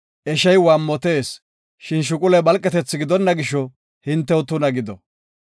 Eshey waammotees, shin shuquley phalqethi gidonna gisho, hintew tuna gido.